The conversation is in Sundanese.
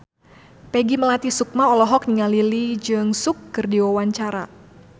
Peggy Melati Sukma olohok ningali Lee Jeong Suk keur diwawancara